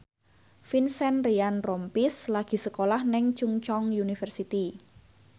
Vincent Ryan Rompies lagi sekolah nang Chungceong University